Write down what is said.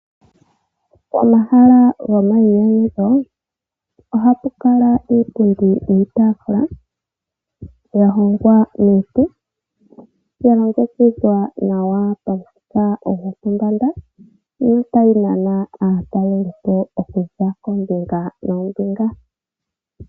Omahala gomayinyanyudho oha pu kala iipundi niitafula ya hongwa miiti ya longekidhwa nawa pamuthika gopombanda yo tayi nana aatalelipo okuza koombinga noombinga.